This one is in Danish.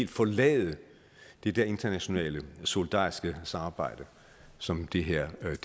forlade det der internationale solidariske samarbejde som det her